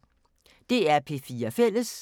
DR P4 Fælles